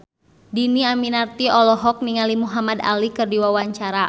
Dhini Aminarti olohok ningali Muhamad Ali keur diwawancara